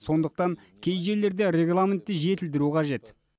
сондықтан кей жерлерде регламентті жетілдіру қажет